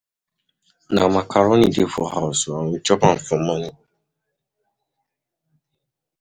um Dat man no um wise, see wetin he dey do himself with food for dat joint.